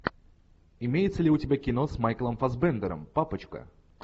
имеется ли у тебя кино с майклом фассбендером папочка